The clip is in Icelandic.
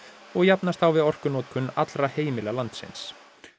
og jafnast á við orkunotkun allra heimila landsins